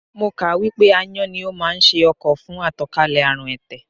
Mo kà á wípé Ááyán ni ó máa ń ṣe ọkọ̀ fún àtànkálẹ̀ àrùn ẹ̀tẹ̀.